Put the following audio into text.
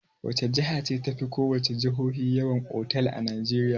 Wace jiha ce tafi ko wace jihohi yawan otal a Najeriya?